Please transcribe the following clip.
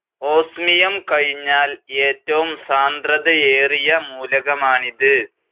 Osmium കഴിഞ്ഞാൽ ഏറ്റവും സാന്ദ്രതയേറിയ മൂലകമാണിത്.